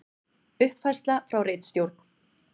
Uppfærsla frá ritstjórn: